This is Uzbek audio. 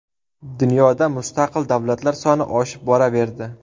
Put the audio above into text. Dunyoda mustaqil davlatlar soni oshib boraverdi.